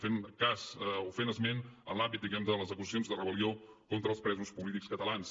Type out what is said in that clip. fent cas o fent esment en l’àmbit diguem ne de les acusacions de rebel·lió contra els presos polítics catalans